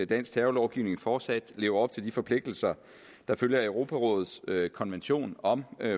dansk terrorlovgivning fortsat lever op til de forpligtelser der følger af europarådets konvention om